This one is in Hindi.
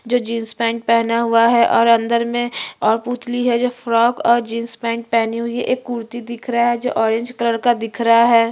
बहोत रंग बिरंगा कपड़ा पहना हुआ है कोई रेड कलर पहना हुआ है कोई पिंक कलर पहना हुआ है।